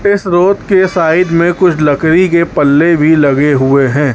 इस रोड के साइड में कुछ लकड़ी के पल्ले भी लगे हुए हैं।